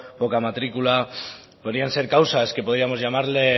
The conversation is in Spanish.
poca matricula podrían ser causas que podríamos llamarle